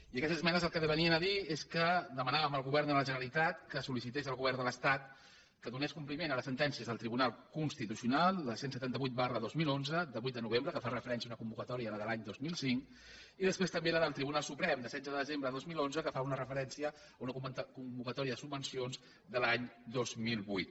i aquestes esmenes el que venien a dir és que dema·nàvem al govern de la generalitat que sol·licités al govern de l’estat que donés compliment a les sentèn·cies del tribunal constitucional la cent i setanta vuit dos mil onze de vuit de novembre que fa referència a una convocatòria la de l’any dos mil cinc i després també la del tribunal suprem de setze de desembre de dos mil onze que fa una referència a una convocatòria de subvencions de l’any dos mil vuit